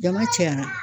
Jama cayara